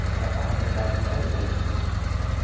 Ele já estava com idade de nove anos também, nessa época.